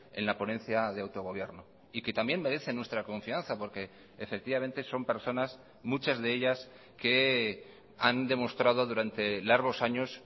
en la ponencia de autogobierno y que también merecen nuestra confianza porque efectivamente son personas muchas de ellas que han demostrado durante largos años